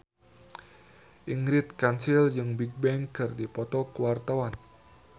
Ingrid Kansil jeung Bigbang keur dipoto ku wartawan